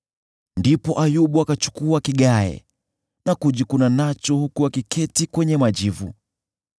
Ndipo Ayubu akachukua kigae na kujikuna nacho huku akiketi kwenye majivu.